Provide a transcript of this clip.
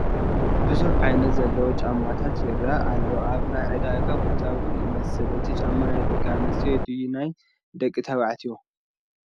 ብዙሕ ዓይነት ዘለዎ ጫማታት ይረአ ኣሎ፡፡ ኣብ ናይ ዕዳጋ ቦታ ውን ይመስል፡፡ እቲ ጫማ ናይ ደቂ ኣነስትዮ ድዩ ናይ ደቂ ተባዕትዮ?